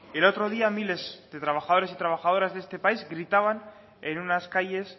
el otro día miles de trabajadores y trabajadoras de este país gritaban en unas calles